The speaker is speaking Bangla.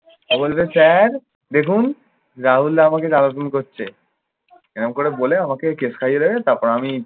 ও বলবে স্যার। দেখুন, রাহুল দা আমাকে জ্বালাতন করছে। এরকম করে বলে আমাকে case খাইয়ে দেবে, তারপর আমি